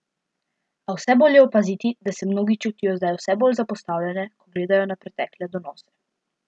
A vse bolj je opaziti, da se mnogi čutijo zdaj vse bolj zapostavljene, ko gledajo na pretekle donose.